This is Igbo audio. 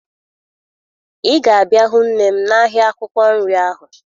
Ị ga-abịa hụ nne m n'ahịa akwụkwọ nri ahụ